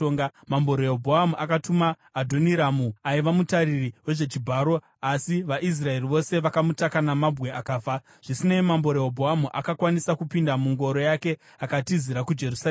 Mambo Rehobhoamu akatuma Adhoniramu, aiva mutariri wezvechibharo, asi vaIsraeri vose vakamutaka namabwe akafa. Zvisinei, Mambo Rehobhoamu akakwanisa kupinda mungoro yake akatizira kuJerusarema.